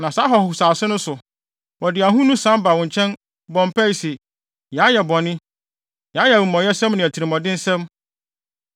Na saa ahɔhosase no so, wɔde ahonu san ba wo nkyɛn, bɔ mpae se, ‘Yɛayɛ bɔne; yɛayɛ amumɔyɛsɛm ne atirimɔdensɛm,’